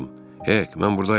Hek, mən burdayam.